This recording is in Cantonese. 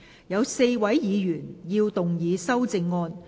有4位議員要動議修正案。